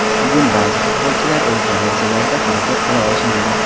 Bugun ba’zi futbolchilar o‘z darajalarida harakat qila olishmadi.